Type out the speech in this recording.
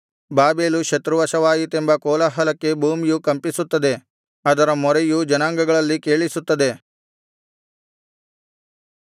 Babel ಶತ್ರುವಶವಾಯಿತೆಂಬ ಕೋಲಾಹಲಕ್ಕೆ ಭೂಮಿಯು ಕಂಪಿಸುತ್ತದೆ ಅದರ ಮೊರೆಯು ಜನಾಂಗಗಳಲ್ಲಿ ಕೇಳಿಸುತ್ತದೆ